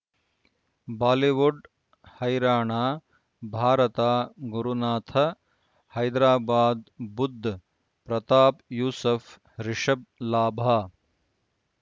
Bollywood ಹೈರಾಣ ಭಾರತ ಗುರುನಾಥ ಹೈದರಾಬಾದ್ ಬುಧ್ ಪ್ರತಾಪ್ ಯೂಸುಫ್ ರಿಷಬ್ ಲಾಭ